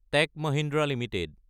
tech Mahindra Ltd